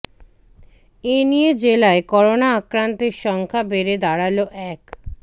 এ নিয়ে জেলায় করোনা আক্রান্তের সংখ্যা বেড়ে দাঁড়াল এক